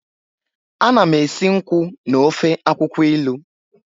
Ana m esi nkwụ na ofe akwukwo ilu.